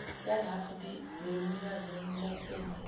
yalapho neyomnikazi welayisense